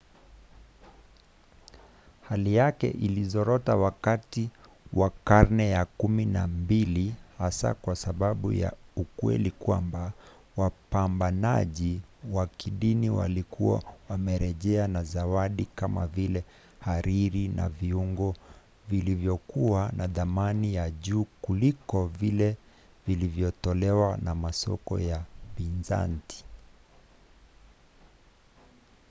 hali yake ilizorota wakati wa karne ya kumi na mbili hasa kwa sababu ya ukweli kwamba wapambanaji wa kidini walikuwa wamerejea na zawadi kama vile hariri na viungo vilivyokuwa na thamani ya juu kuliko vile vilivyotolewa na masoko ya bizanti